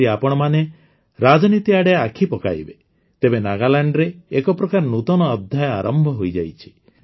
ଯଦି ଆପଣମାନେ ରାଜନୀତି ଆଡ଼େ ଆଖି ପକାଇବେ ତେବେ ନାଗାଲାଣ୍ଡରେ ଏକପ୍ରକାର ନୂତନ ଅଧ୍ୟାୟ ଆରମ୍ଭ ହୋଇଯାଇଛି